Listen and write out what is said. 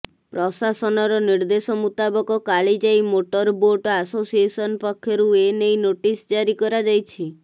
ପ୍ରଶାସନର ନିର୍ଦ୍ଦେଶ ମୂତାବିକ କାଳିଜାଇ ମୋଟର ବୋଟ୍ ଆସୋସିଏସନ ପକ୍ଷରୁ ଏନେଇ ନୋଟିସ ଜାରି କରାଯାଇଛି